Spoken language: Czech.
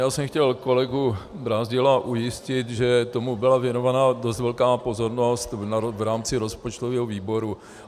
Já jsem chtěl kolegu Brázdila ujistit, že tomu byla věnována dost velká pozornost v rámci rozpočtového výboru.